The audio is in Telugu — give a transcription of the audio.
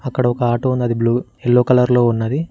అక్కడ ఒక ఆటో ఉన్నది బ్లూ ఎల్లో కలర్ లో ఉన్నది.